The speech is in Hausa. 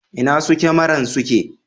Inna su kyamaran suke?